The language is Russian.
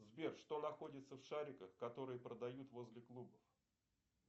сбер что находится в шариках которые продают возле клубов